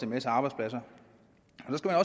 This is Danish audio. masse arbejdspladser